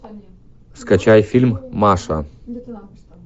скачай фильм маша